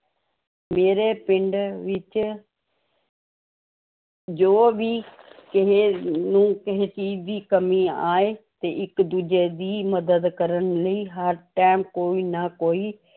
ਮੇਰੇ ਪਿੰਡ ਵਿੱਚ ਜੋ ਵੀ ਕਿਸੇੇ ਨੂੰ ਕਿਸੇ ਚੀਜ਼ ਦੀ ਕਮੀ ਆਏ ਤੇ ਇੱਕ ਦੂਜੇ ਦੀ ਮਦਦ ਕਰਨ ਲਈ ਹਰ time ਕੋਈ ਨਾ ਕੋਈ